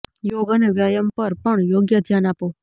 યોગ અને વ્યાયામ પર પણ યોગ્ય ધ્યાન આપો